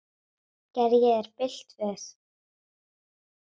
Gerði ég þér bylt við?